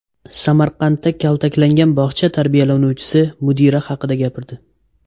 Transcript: Samarqandda kaltaklangan bog‘cha tarbiyalanuvchisi mudira haqida gapirdi.